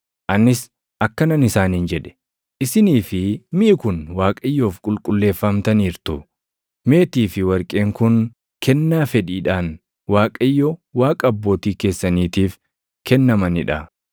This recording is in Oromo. Anis akkanan isaaniin jedhe; “Isinii fi miʼi kun Waaqayyoof qulqulleeffamtaniirtu. Meetii fi warqeen kun kennaa fedhiidhaan Waaqayyo Waaqa abbootii keessaniitiif kennamanii dha.